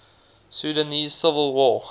sudanese civil war